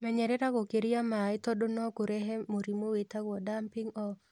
Menyerera gũkĩria maĩĩ tondu nokũrehe mũrimũ wĩtagwo "damping-off"